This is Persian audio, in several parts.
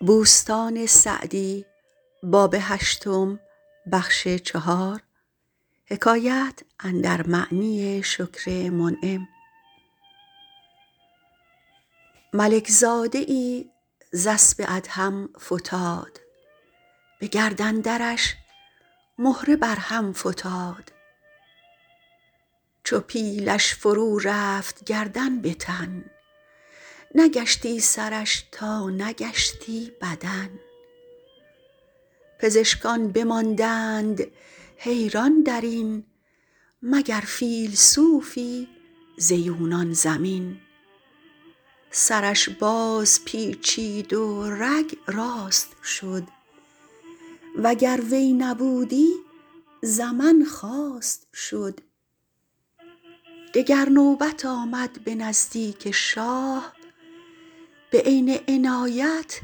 ملک زاده ای ز اسب ادهم فتاد به گردن درش مهره بر هم فتاد چو پیلش فرو رفت گردن به تن نگشتی سرش تا نگشتی بدن پزشکان بماندند حیران در این مگر فیلسوفی ز یونان زمین سرش باز پیچید و رگ راست شد وگر وی نبودی زمن خواست شد دگر نوبت آمد به نزدیک شاه به عین عنایت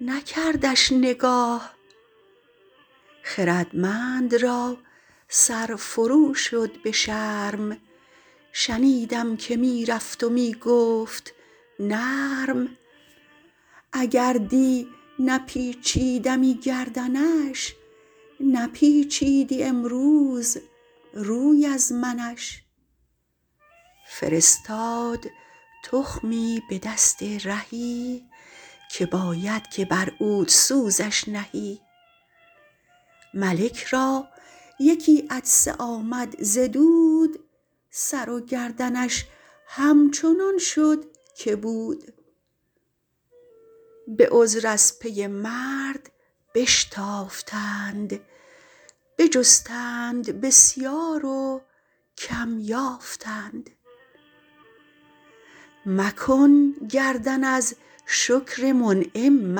نکردش نگاه خردمند را سر فرو شد به شرم شنیدم که می رفت و می گفت نرم اگر دی نپیچیدمی گردنش نپیچیدی امروز روی از منش فرستاد تخمی به دست رهی که باید که بر عودسوزش نهی ملک را یکی عطسه آمد ز دود سر و گردنش همچنان شد که بود به عذر از پی مرد بشتافتند بجستند بسیار و کم یافتند مکن گردن از شکر منعم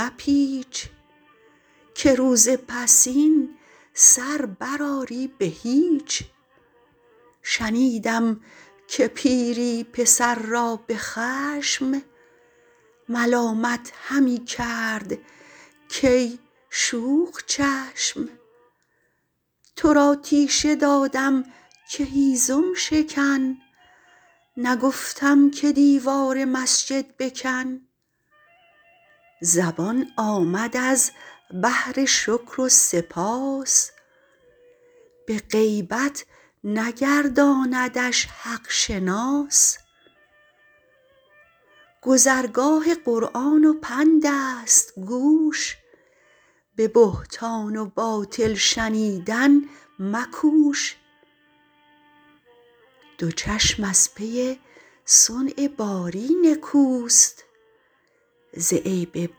مپیچ که روز پسین سر بر آری به هیچ شنیدم که پیری پسر را به خشم ملامت همی کرد کای شوخ چشم تو را تیشه دادم که هیزم شکن نگفتم که دیوار مسجد بکن زبان آمد از بهر شکر و سپاس به غیبت نگرداندش حق شناس گذرگاه قرآن و پند است گوش به بهتان و باطل شنیدن مکوش دو چشم از پی صنع باری نکوست ز عیب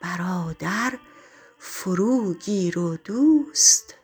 برادر فرو گیر و دوست